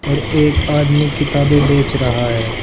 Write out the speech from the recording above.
और एक आदमी किताबें बेच रहा है।